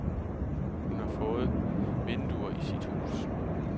Hun har fået vinduer i sit hus.